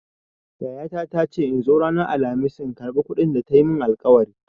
Yayata ta ce in zo ranar Alkhamis in karɓa kuɗin da ta yi min alƙawari.